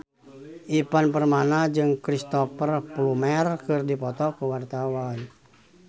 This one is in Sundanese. Ivan Permana jeung Cristhoper Plumer keur dipoto ku wartawan